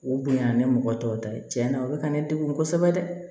U bonya ni mɔgɔ tɔw ta ye tiɲɛni ye u be ka ne degun kosɛbɛ dɛ